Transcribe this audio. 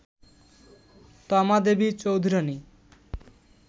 Toma Devi Chaudhurani